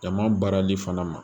Jama baarali fana ma